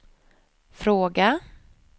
fråga